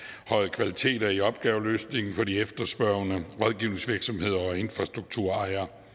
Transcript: kvaliteter i opgaveløsningen for de efterspørgende rådgivningsvirksomheder og infrastrukturejere